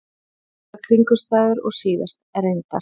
Svipaðar kringumstæður og síðast, reyndar.